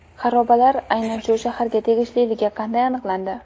xarobalar aynan shu shaharga tegishliligi qanday aniqlandi?